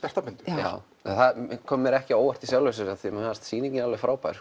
já það kom mér ekki á óvart í sjálfu sér af því að mér fannst sýningin alveg frábær